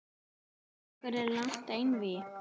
Vill Akureyri langt einvígi